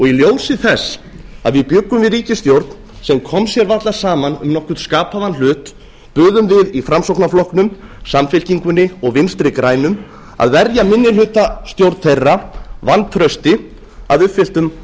í ljósi þess að við bjuggum við ríkisstjórn sem kom sér varla saman um nokkurn skapaðan hlut buðum við í framsóknarflokknum samfylkingunni og vinstri grænum að verja minnihlutastjórn þeirra vantrausti að uppfylltum